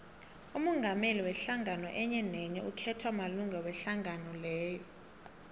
umongameli wehlangano enyenenye ukhethwa malunga wehlangano leyo